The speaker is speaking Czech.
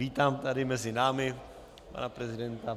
Vítám tady mezi námi pana prezidenta.